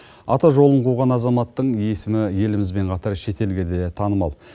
ата жолын қуған азаматтың есімі елімізбен қатар шетелге де танымал